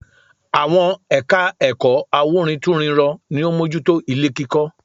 Àwọn ẹ̀ka ẹ̀kọ́ awúrintúnrinrọ ni ó mójú tó ilé kíkọ́